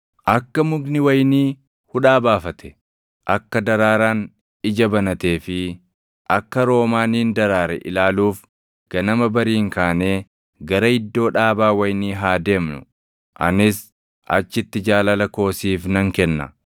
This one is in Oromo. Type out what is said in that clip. Akka mukni wayinii hudhaa baafate, akka daraaraan ija banatee fi akka roomaaniin daraare ilaaluuf ganama bariin kaanee gara iddoo dhaabaa wayinii haa deemnu; anis achitti jaalala koo siif nan kenna.